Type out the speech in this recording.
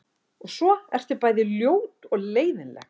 Og svo ertu bæði ljót og leiðinleg.